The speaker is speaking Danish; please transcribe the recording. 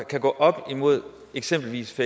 kan gå op imod eksempelvis